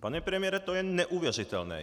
Pane premiére, to je neuvěřitelné!